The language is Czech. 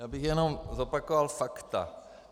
Já bych jenom zopakoval fakta.